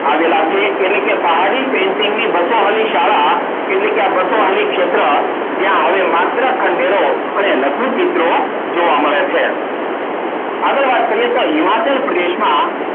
આવેલા છે. એટલે કે પહાડી painting ની બસો વાળી શાળા એટલે કે આ બસો વાળી ક્ષેત્ર જ્યાં હવે માત્ર ખંડેરો અને લઘુ ચિત્રો જોવા મળે છે. આગળ વાત કરીએ. તો હિમાચલ પ્રદેશમાં